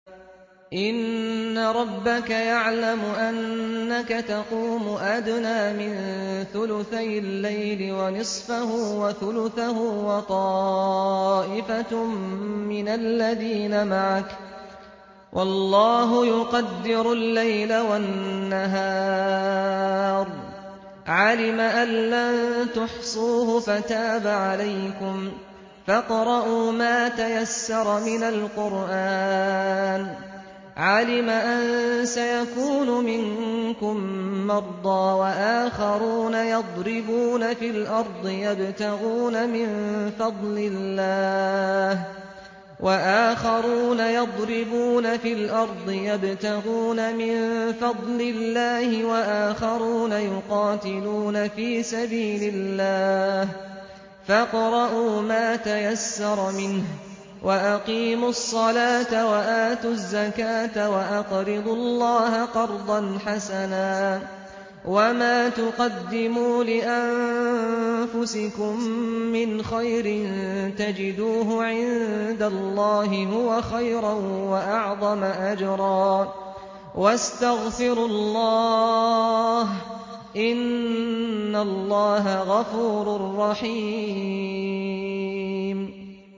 ۞ إِنَّ رَبَّكَ يَعْلَمُ أَنَّكَ تَقُومُ أَدْنَىٰ مِن ثُلُثَيِ اللَّيْلِ وَنِصْفَهُ وَثُلُثَهُ وَطَائِفَةٌ مِّنَ الَّذِينَ مَعَكَ ۚ وَاللَّهُ يُقَدِّرُ اللَّيْلَ وَالنَّهَارَ ۚ عَلِمَ أَن لَّن تُحْصُوهُ فَتَابَ عَلَيْكُمْ ۖ فَاقْرَءُوا مَا تَيَسَّرَ مِنَ الْقُرْآنِ ۚ عَلِمَ أَن سَيَكُونُ مِنكُم مَّرْضَىٰ ۙ وَآخَرُونَ يَضْرِبُونَ فِي الْأَرْضِ يَبْتَغُونَ مِن فَضْلِ اللَّهِ ۙ وَآخَرُونَ يُقَاتِلُونَ فِي سَبِيلِ اللَّهِ ۖ فَاقْرَءُوا مَا تَيَسَّرَ مِنْهُ ۚ وَأَقِيمُوا الصَّلَاةَ وَآتُوا الزَّكَاةَ وَأَقْرِضُوا اللَّهَ قَرْضًا حَسَنًا ۚ وَمَا تُقَدِّمُوا لِأَنفُسِكُم مِّنْ خَيْرٍ تَجِدُوهُ عِندَ اللَّهِ هُوَ خَيْرًا وَأَعْظَمَ أَجْرًا ۚ وَاسْتَغْفِرُوا اللَّهَ ۖ إِنَّ اللَّهَ غَفُورٌ رَّحِيمٌ